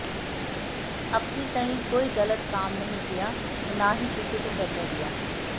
अपनी तईं कोई ग़लत काम नहीं किया और न ही किसी को करने दिया